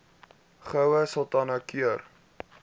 goue sultana keur